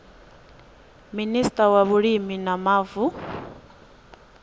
minista wa vhulimi na mavu